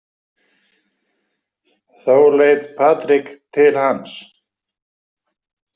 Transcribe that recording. Þá leit Patrik til hans.